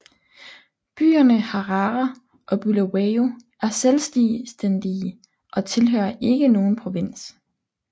Byerne Harare og Bulawayo er selvstændige og tilhører ikke nogen provins